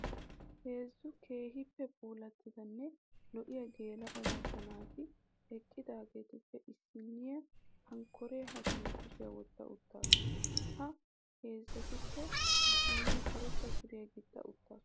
Heezzu keehippe puulattidanne lo'iyaa geela'o macca naati eqqudaageetuppe issinniya hankkoree hashiyan kushiyaa wotta uttasu. Ha heezzatuppe issinniyaa karetta suriyaa gixxa uttasu.